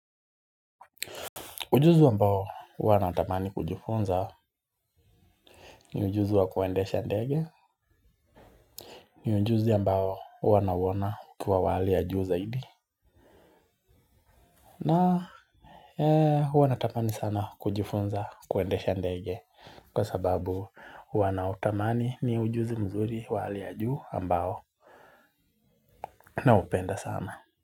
Ujuzi wambao huwa nautamani kujifunza ni ujuzi wa kuwendesha ndege ni ujuzi ambao huwa nawona ukiwa wali ya juu zaidi. Na uwa natamani sana kujifunza kuwendesha ndege kwa sababu wana utamani ni ujuzi mzuri wali ya juu ambao naupenda sana.